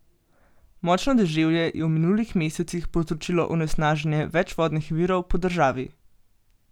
Močno deževje je v minulih mesecih povzročilo onesnaženje več vodnih virov po državi.